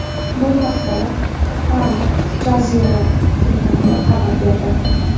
Bu haqda, Al Jazeera telekanali xabar berdi .